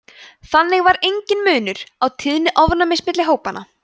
þannig var enginn munur á tíðni ofnæmis milli hópanna